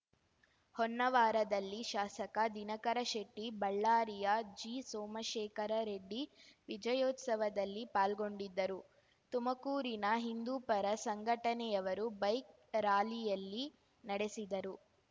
ಹೊನ್ನವಾರದಲ್ಲಿ ಶಾಸಕ ದಿನಕರ ಶೆಟ್ಟಿ ಬಳ್ಳಾರಿಯ ಜಿ ಸೋಮಶೇಖರ ರೆಡ್ಡಿ ವಿಜಯೋತ್ಸವದಲ್ಲಿ ಪಾಲ್ಗೊಂಡಿದ್ದರು ತುಮಕೂರಿನ ಹಿಂದೂಪರ ಸಂಘಟನೆಯವರು ಬೈಕ್‌ ರಾಲಿಯಲ್ಲಿ ನಡೆಸಿದರು